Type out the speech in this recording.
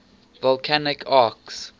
volcanic arcs